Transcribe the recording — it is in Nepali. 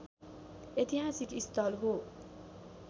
ऐतिहासिक स्थल हो